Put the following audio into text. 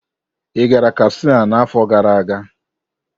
Ị gara Katsina n'afọ gara aga?